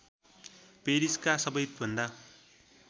पेरिसका सबैभन्दा